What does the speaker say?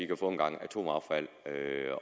kan få en gang atomaffald at